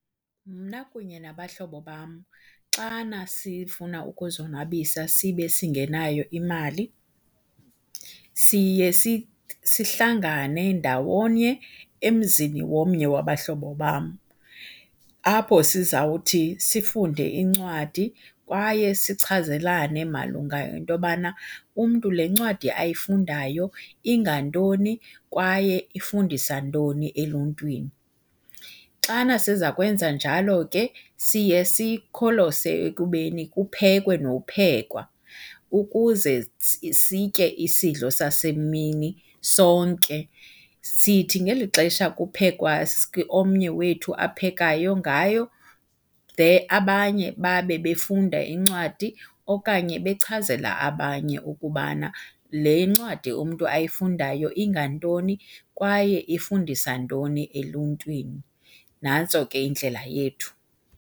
Mna kunye nabahlobo bam xana sifuna ukuzonwabisa sibe singenayo imali siye sihlangane ndawonye emzini womnye wabahlobo bam, apho sizawuthi sifunde incwadi kwaye sichazelane malunga nento yobana umntu le ncwadi ayifundayo ingantoni kwaye ifundisa ntoni eluntwini. Xana sizakwenza njalo ke siye sikholose ekubeni kuphekwe nophekwa ukuze sitye isidlo sasemini sonke. Sithi ngeli xesha kuphekwa omnye wethu aphekayo ngayo abanye babe befunda incwadi okanye bechazela abanye ukubana le ncwadi umntu ayifundayo ingantoni kwaye ifundisa ntoni eluntwini. Nantso ke indlela yethu.